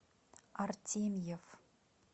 артемьев